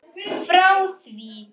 Frá því